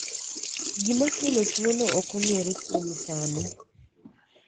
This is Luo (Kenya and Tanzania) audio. gima kelo tuo no ok ong'ere kuom sani